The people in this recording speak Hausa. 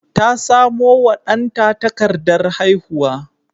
Ta samo wa danta takardar haihuwa.